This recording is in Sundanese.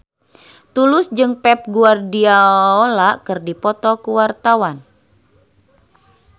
Tulus jeung Pep Guardiola keur dipoto ku wartawan